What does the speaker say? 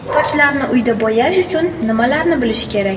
Sochlarni uyda bo‘yash uchun nimalarni bilish kerak?